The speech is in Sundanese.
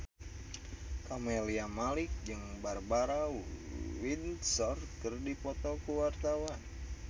Camelia Malik jeung Barbara Windsor keur dipoto ku wartawan